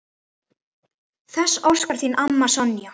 Þess óskar þín amma, Sonja.